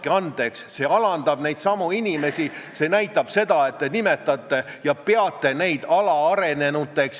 Kas te ütleksite, et ole hea ja sõida edasi ja kui kontroll tuleb, siis aja mingit udu, et naine läks ämma juubeli jaoks kleidiriiet valima ja kogemata pani minu rahakoti oma taskusse?